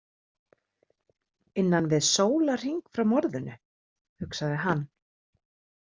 Innan við sólarhring frá morðinu, hugsaði hann.